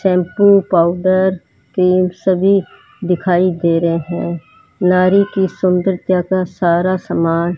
shampoo powder तेल सभी दिखाई दे रहे हैं नारी की सुंदरता का सारा सामान --